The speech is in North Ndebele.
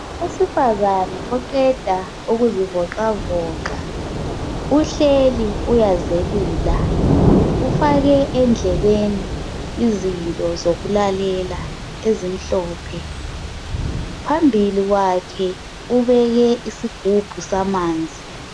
Owesifazana oqeda ukuzivoxavoxa, uhleli uyazelula. Ufake endlebeni izinto zokulalela ezimhlophe. Phambili kwakhe ubeke isigubhu samanzi.